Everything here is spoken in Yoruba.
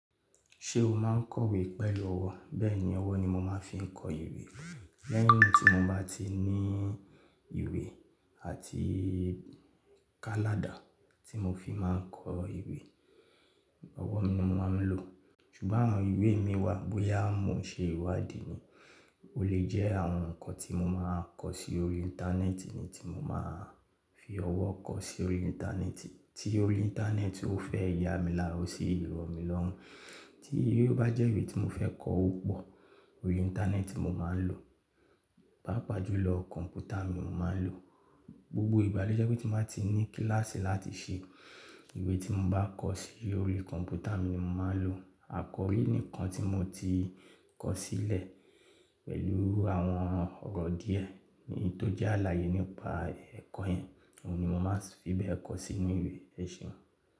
Ṣé o máa ń kọ ìwé pẹ̀lú ọwọ́? Bẹ́ẹ̀ni, ọwọ́ ni mo máa ń fi kọ ìwé lẹ́yìn tí mo bá ti ní ìwé àti takadà tí mo fi máa ń kọ ìwé. Ọwọ́ mi ni mo máa ń lò. Ṣùgbọ́n àwọn ìwé mi wà bóyá mo n ṣe ìwádìí ni, ó lè jẹ́ àwọn nǹkan tí mo máa kọ sí orí Íńtánẹ́ẹ̀tì ni tí mo máa fi ọwọ́ kọ sí orí Íńtánẹ́ẹ̀tì, tí orí Íńtánẹ́ẹ̀tì ó fẹ́ ya mi lára ó sì rọ̀ mí lọ́run, tí èyí ó bá jẹ́ ìwé tí mo fẹ́ kọ ó pọ̀, orí Íńtánẹ́ẹ̀tì ni mo máa ń lò, páapa jùlọ kọ̀ǹpútà mi mo máa ń lò. Gbogbo ìgbà lo jẹ́ pe tí mo bá ti ní kílàsì láti ṣe, ìwé tí mo bá kọ sí orí kọ̀ǹpútà mi ni mo máa ń lò. Àkọrí ni nnkan tí mo ti kọ sílẹ̀ pẹ̀lú àwọn ọ̀rọ̀ díẹ̀ ni tó jẹ́ àlàyé nípa ẹ̀kọ́ yẹn, òun ni mo máa fi bẹ̀ ẹ́ kọ sínú ìwé ẹ̀sìn.